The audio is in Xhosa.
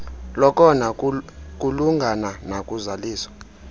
lokona kulungana nakuzaliso